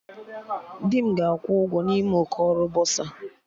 Di m ga-akwụ ụgwọ n'ime ụkọ ọrụ bọsa